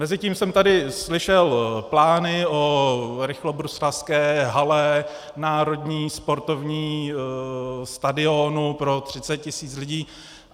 Mezitím jsem tady slyšel plány o rychlobruslařské hale, národním sportovním stadionu pro 30 tisíc lidí.